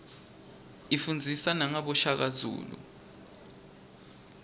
ifundzisa nagabo shaka zulu